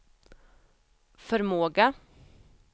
förmåga